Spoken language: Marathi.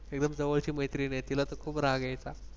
एकदम जवळची मैत्रीण आहे तिला तर खूप राग यायचा.